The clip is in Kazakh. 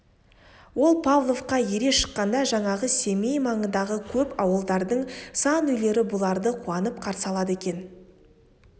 ол павловқа ере шыққанда жаңағы семей маңындағы көп ауылдардың сан үйлері бұларды қуанып қарсы алады екен